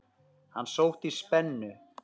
Hann sótti í spennu.